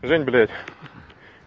жень блядь